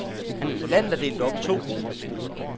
Landet er delt op i to grupper.